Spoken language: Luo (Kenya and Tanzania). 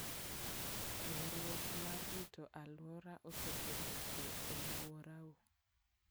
Riwruok mar rito alwora osekelo kwe e alworau.